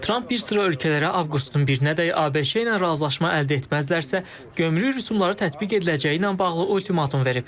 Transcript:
Tramp bir sıra ölkələrə avqustun birinədək ABŞ-la razılaşma əldə etməzlərsə, gömrük rüsumları tətbiq ediləcəyi ilə bağlı ultimatum verib.